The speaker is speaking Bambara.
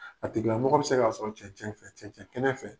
A tigila mɔgɔ bɛ se k'a sɔrɔ cɛncɛn fɛ.